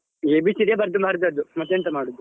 ABCD ಬರ್ದು ಬರ್ದದ್ದು ಮತ್ತೆ ಎಂಥ ಮಾಡುದು.